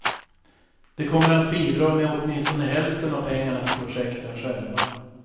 De kommer att bidra med åtminstone hälften av pengarna till projekten själva.